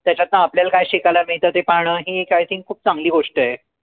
त्यांच्यातन आपल्याला काय शिकायला मिळत ते पाहणं हे एक I think खूप चांगली गोष्ट आहे.